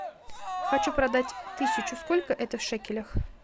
хочу продать тысячу сколько это в шекелях